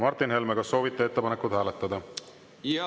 Martin Helme, kas soovite ettepanekut hääletada?